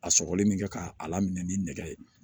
A sɔgɔli min kɛ ka a lamini ni nɛgɛ ye